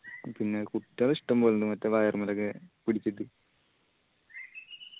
പിന്നെ കുട്ടികള് ഇഷ്ടംപോലെ ഇണ്ട് മറ്റേ wire മ്മലൊക്കെ പിടിച്ചിട്ട്